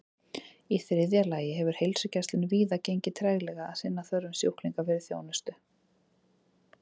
Í þriðja lagi hefur heilsugæslunni víða gengið treglega að sinna þörfum sjúklinga fyrir þjónustu.